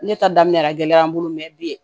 Ne ta daminɛ a gɛlɛyara n bolo mɛ bi